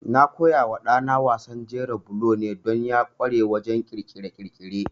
Na koyawa ɗana wasan jera bulo ne don ya ƙware wajen ƙirƙire-ƙirƙire.